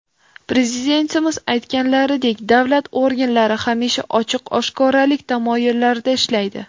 Prezidentimiz aytganlaridek, davlat organlari hamisha ochiq-oshkoralik tamoyillarida ishlaydi.